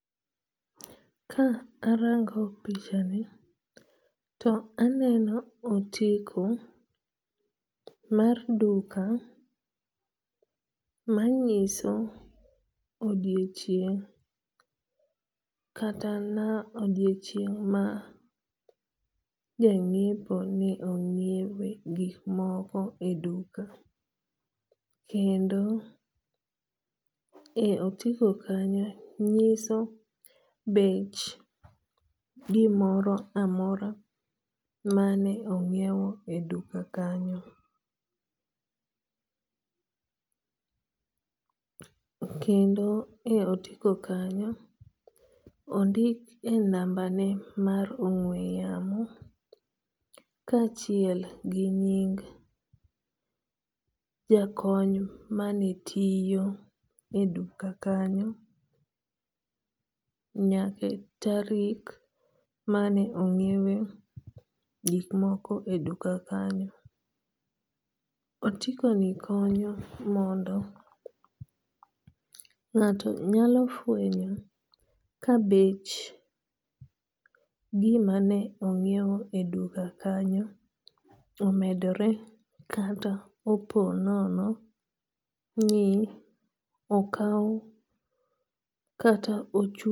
Ka arango pichani to aneno otiko mar duka manyiso odiochieng' kata na odiochieng' ma jang'iepo ni ong'iewe gik moko e duka. Kendo e otiko kanyo nyiso bech gimoro amora mane ong'iew e duka kanyo. Kendo e otiko kanyo, ondik e namba ne mar ong'we yamo kachiel gi nying jakony manetiyo e duka kanyo nyaka tarik mane ong'iewe gik moko e duka kanyo. Otiko ni konyo mondo ng'ato nyalo fwenyo ka bech gima ne ong'iew e duka kanyo omedore kata opo nono ni okaw kata chud